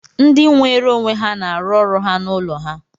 Ndị nweere onwe ha na-arụ ọrụ ha n'ụlọ ha